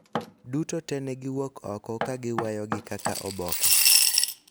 duto to ne giwuok oko ka giweyogi kaka oboke